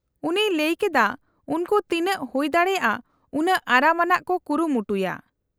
-ᱩᱱᱤᱭ ᱞᱟᱹᱭ ᱠᱮᱫᱟ ᱩᱱᱠᱩ ᱛᱤᱱᱟᱹᱜ ᱦᱩᱭ ᱫᱟᱲᱮᱭᱟᱜᱼᱟ ᱩᱱᱟᱹᱜ ᱟᱨᱟᱢ ᱟᱱᱟᱜ ᱠᱚ ᱠᱩᱨᱩᱢᱩᱴᱩᱭᱟ ᱾